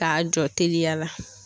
K'a jɔ teliya la.